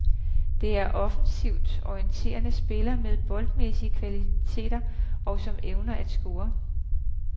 Det er offensivt orienterede spillere med boldmæssige kvaliteter, og som evner at score.